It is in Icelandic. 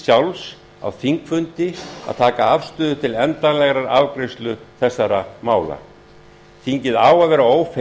sjálfs á þingfundi að taka afstöðu til endanlegrar afgreiðslu þessara mála þingið á að vera